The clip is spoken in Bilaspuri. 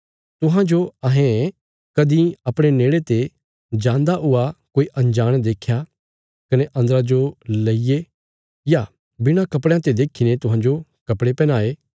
तुहांजो अहें कदीं अपणे नेड़े ते जान्दा हुआ कोई अंजाण देख्या कने अन्दरा जो लेईये या बिणा कपड़यां ते देखीने तुहांजो कपड़े पैहनाये